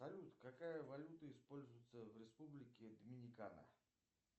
салют какая валюта используется в республике доминикана